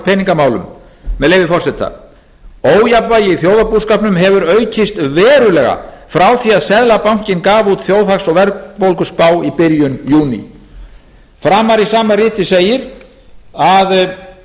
peningamálum með leyfi forseta ójafnvægi í þjóðarbúskapnum hefur aukist verulega frá því að seðlabankinn gaf út þjóðhags og verðbólguspá í byrjun júní framar í sama riti segir að